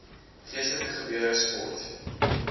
geestelike gebeure sport